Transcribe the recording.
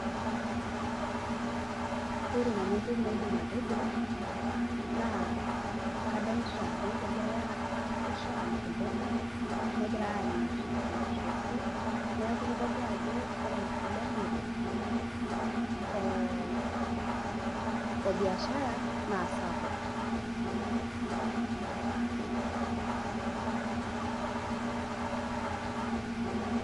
Ore nanu ntokii naidiim atejoo naa kadolita ajoo kegirai amirishoo amiir mboga, negirai amiir lmatiriesi. Neeku keitodoluu ajoo ore nkiromore o obiashara naa sapuk.